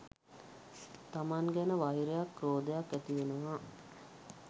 තමන් ගැන වෛරයක් ක්‍රෝධයක් ඇතිවෙනවා.